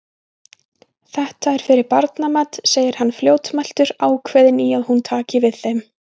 Þetta er fyrir barnamat, segir hann fljótmæltur, ákveðinn í að hún taki við þeim.